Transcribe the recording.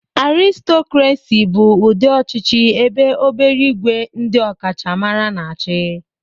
Aristocracy bụ ụdị ọchịchị ebe obere ìgwè ndị ọkachamara na-achị